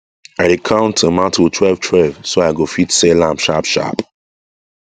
i dey count tomato twelve 12 so i go fit sell am sharp sharp